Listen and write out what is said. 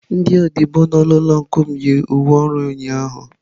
Ndị odibo nọ n'ụlọ ọncụl m, yi uwe ọrụ ha ụnyahụ